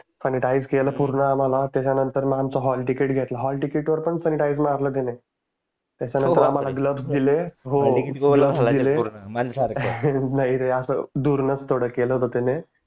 sanitizer केलं पूर्ण आम्हाला त्याच्यानंतर आमचं हॉल टीकेत घेतलं हॉल टीकेट वर पण सांनीटईसर मारलं त्याने त्याच्यानंतर आम्हाला ग्लोव्स दिले नाही रे असं दूरनच थोडं केलं होतं त्याने